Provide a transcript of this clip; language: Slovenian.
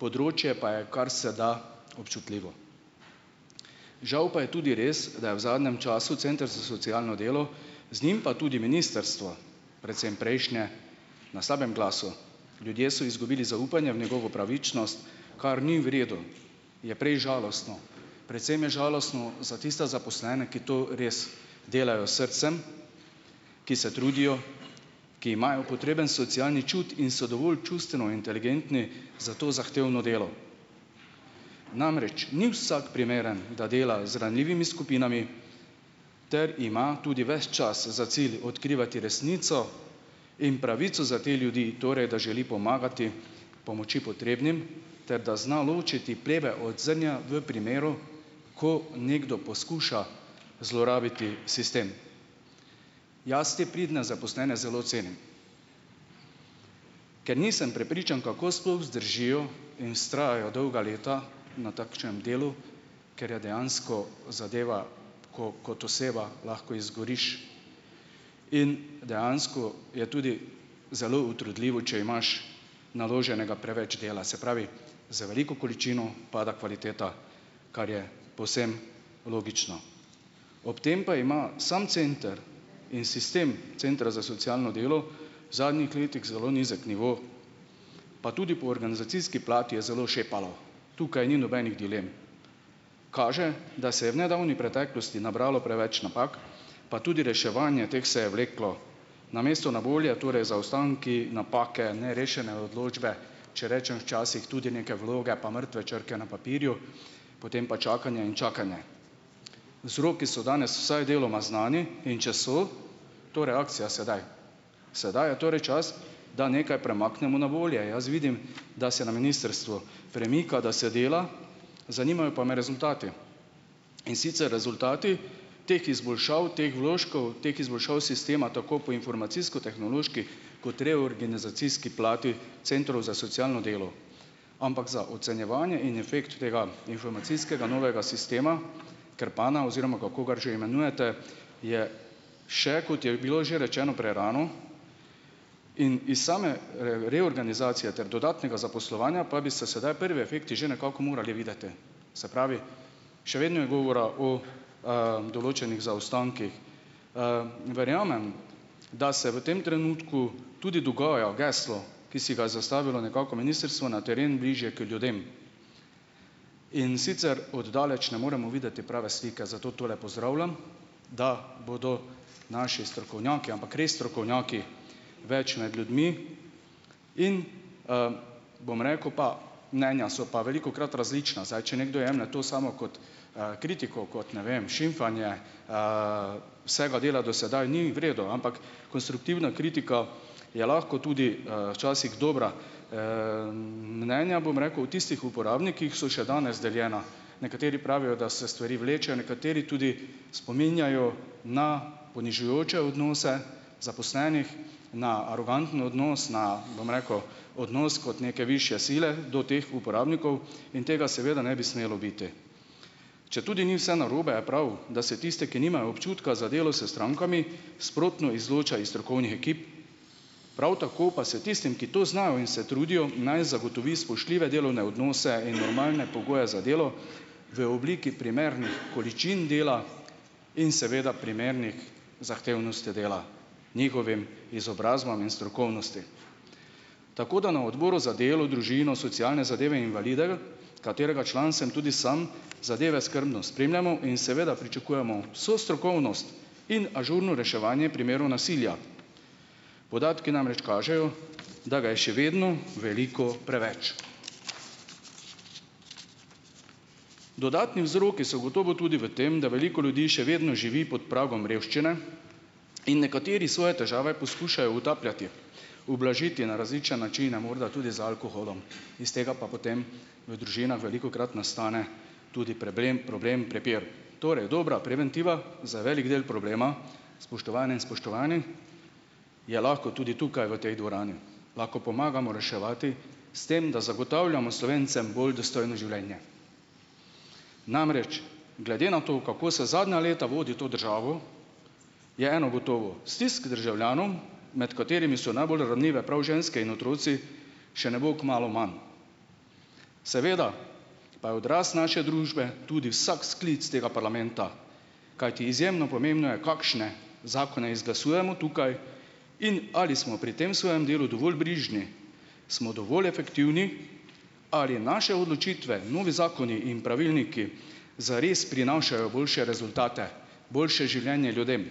Področje pa je kar se da občutljivo. Žal pa je tudi res, da je v zadnjem času center za socialno delo z njim pa tudi ministrstvo, predvsem prejšnje, na slabem glasu. Ljudje so izgubili zaupanje v njegovo pravičnost, kar ni v redu, je prej žalostno, predvsem je žalostno za tiste zaposlene, ki to res delajo srcem, ki se trudijo, ki imajo potreben socialni čut in so dovolj čustveno inteligentni za to zahtevno delo. Namreč ni vsak primeren, da dela z ranljivimi skupinami ter ima tudi ves čas za cilj odkrivati resnico in pravico za te ljudi, torej da želi pomagati pomoči potrebnim ter da zna ločiti pleve od zrnja v primeru, ko nekdo poskuša zlorabiti sistem. Jaz te pridne zaposlene zelo cenim. Ker nisem prepričan, kako sploh zdržijo in vztrajajo dolga leta na takšnem delu, ker je dejansko zadeva, ko kot oseba lahko izgoriš, in dejansko je tudi zelo utrudljivo, če imaš naloženega preveč dela, se pravi, z veliko količino pada kvaliteta, kar je povsem logično. Ob tem pa ima samo center in sistem centra za socialno delo v zadnjih letih zelo nizek nivo pa tudi po organizacijski plati je zelo šepalo, tukaj ni nobenih dilem, kaže, da se je v nedavni preteklosti nabralo preveč napak, pa tudi reševanje teh se je vleklo, namesto na bolje torej zaostanki, napake, nerešene odločbe, če rečem, včasih tudi neke vloge pa mrtve črke na papirju, potem pa čakanje in čakanje. Vzroki so danes vsaj deloma znani, in če so to reakcija sedaj. Sedaj je torej čas, da nekaj premaknemo na bolje, jaz vidim, da se na ministrstvu premika, da se dela, zanimajo pa me rezultati, in sicer rezultati teh izboljšav, teh vložkov, teh izboljšav sistema tako po informacijsko-tehnološki kot reorganizacijski plati centrov za socialno delo. Ampak za ocenjevanje in efekt tega informacijskega novega sistema Krpana, oziroma kako ga že imenujete, je še, kot je bilo že rečeno, prerano. In iz same reorganizacije ter dodatnega zaposlovanja pa bi se sedaj prvi efekti že nekako morali videti, se pravi, še vedno je govora o, določenih zaostankih. Verjamem, da se v tem trenutku tudi dogaja geslo, ki si ga je zastavilo nekako ministrstvo, Na teren, bližje k ljudem. In sicer od daleč ne moremo videti prave slike, zato tole pozdravljam, da bodo naši strokovnjaki, ampak res strokovnjaki več med ljudmi. In ... Bom rekel pa ... Mnenja so pa velikokrat različna. Zdaj, če nekdo jemlje to samo kot, kritiko, kot, ne vem, šimfanje vsega dela do sedaj, ni v redu, ampak konstruktivna kritika je lahko tudi, včasih dobra. Mnenja, bom rekel, tistih uporabnikih so še danes deljena, nekateri pravijo, da se stvari vlečejo, nekateri tudi spominjajo na ponižujoče odnose zaposlenih, na aroganten odnos, na, bom rekel, odnos kot neke višje sile do teh uporabnikov. In tega seveda ne bi smelo biti. Četudi ni vse narobe, je prav, da se tiste, ki nimajo občutka za delo s strankami, sprotno izloča iz strokovnih ekip. Prav tako pa se tistim, ki to znajo in se trudijo, naj zagotovi spoštljive delovne odnose in normalne pogoje za delo v obliki primernih količin dela in seveda primernih zahtevnosti dela, njihovim izobrazbam in strokovnosti. Tako da na odboru za delo, družino, socialne zadeve, invalide, katerega član sem tudi sam, zadeve skrbno spremljamo in seveda pričakujemo vso strokovnost in ažurno reševanje primeru nasilja; podatki namreč kažejo, da ga je še vedno veliko preveč. Dodatni vzroki so gotovo tudi v tem, da veliko ljudi še vedno živi pod pragom revščine in nekateri svoje težave poskušajo utapljati, ublažiti na različne načine, morda tudi z alkoholom. Is tega pa potem v družinah velikokrat nastane tudi preblem problem, prepir. Torej, dobra preventiva za velik del problema, spoštovane in spoštovani, je lahko tudi tukaj v tej dvorani. Lahko pomagamo reševati s tem, da zagotavljamo Slovencem bolj dostojno življenje. Namreč, glede na to, kako se zadnja leta vodi to državo, je eno gotovo - stisk državljanov, med katerimi so najbolj ranljive prav ženske in otroci, še ne bo kmalu manj. Seveda pa je odraz naše družbe tudi vsak sklic tega parlamenta, kajti izjemno pomembno je, kakšne zakone izglasujemo tukaj, in ali smo pri tem svojem delu dovolj brižni smo dovolj efektivni, ali naše odločitve, novi zakoni in pravilniki, zares prinašajo boljše rezultate, boljše življenje ljudem.